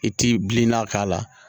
I ti bilenna k'a la